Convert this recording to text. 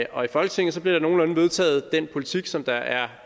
og i folketinget bliver der vedtaget den politik som der er